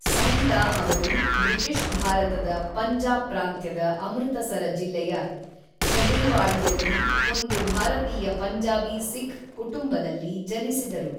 ಸೌಂದ ಅವರು ಬ್ರಿಟಿಷ್ ಭಾರತದ ಪಂಜಾಬ್ ಪ್ರಾಂತ್ಯದ ಅಮೃತಸರ ಜಿಲ್ಲೆಯ ಛಜುಲ್ವಾಡಿಯಲ್ಲಿ ಒಂದು ಭಾರತೀಯ ಪಂಜಾಬಿ ಸಿಖ್ ಕುಟುಂಬದಲ್ಲಿ ಜನಿಸಿದರು.